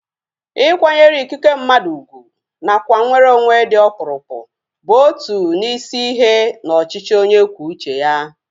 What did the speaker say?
Ịkwanyere ikike mmadụ ugwu nakwa nweronwe dị ọkpụrụkpụ bụ otu n'isi ihe na ọchịchị onye kwuo uche ya